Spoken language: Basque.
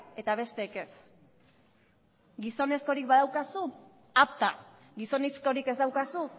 eta besteek ez gizonezkorik badaukazu apta gizonezkorik ez daukazu